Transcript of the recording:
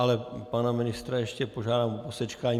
Ale pana ministra ještě požádám o posečkání.